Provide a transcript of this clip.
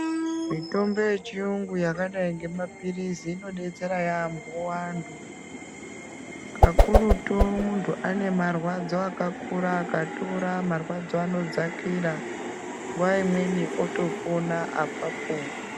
Mitombo yechiyungu yakadai ngemapirizi inodetsera yaampo antu kakurutu muntu anemarwadzo akakura akatora mwarwadzo anodzakira nguwa imweni otopona apapo.